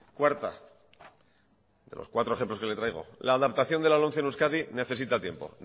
cuarta de los cuatro ejemplos que les traigo la adaptación de la lomce en euskadi necesita tiempo